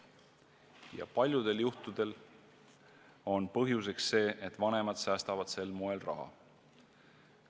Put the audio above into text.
Ja paljudel juhtudel on põhjuseks see, et vanemad säästavad sel moel raha.